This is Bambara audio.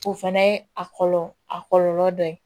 O fɛnɛ ye a kɔlɔlɔ a kɔlɔlɔ dɔ ye